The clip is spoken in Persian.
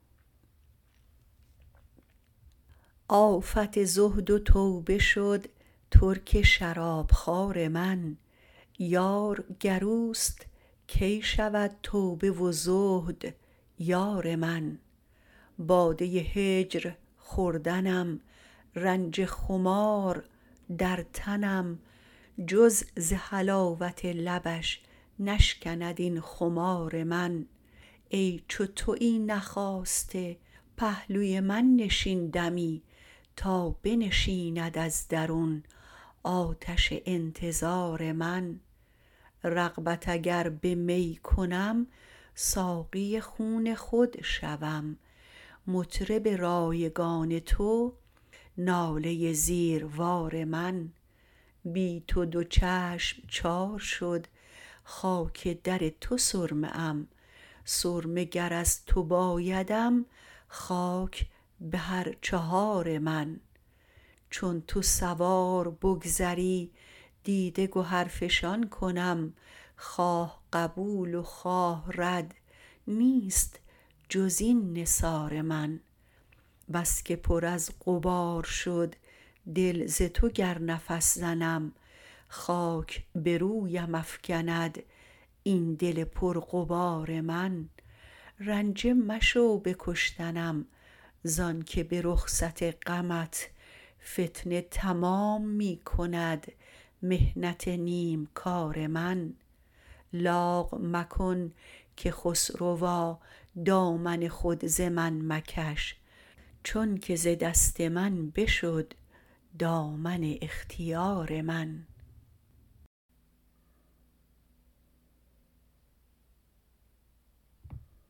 آفت زهد و توبه شد ترک شرابخوار من یار گر اوست کی شود توبه و زهد یار من باده هجر خوردنم رنج خمار در تنم جز ز حلاوت لبش نشکند این خمار من ای چو تویی نخاسته پهلوی من نشین دمی تا بنشیند از درون آتش انتظارمن رغبت اگر نمی کنم ساقی خون خود شوم مطرب رایگان تو ناله زیروار من بی تو دو چشم چار شد خاک در تو سرمه ام سرمه گر از تو بایدم خاک به هر چهار من چون تو سوار بگذری دیده گهر فشان کنم خواه قبول و خواه رد نیست جز این نثار من بس که پر از غبار شد دل ز تو گر نفس زنم خاک به رویم افگند این دل پر غبار من رنجه مشو به کشتنم زان که به رخصت غمت فتنه تمام می کند محنت نیم کار من لاغ مکن که خسروا دامن خود ز من مکش چون که ز دست من بشد دامن اختیار من